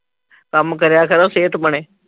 ਕੰਮ ਕਰਿਆ ਕਰੋ । ਸਿਹਤ ਬਣੇ।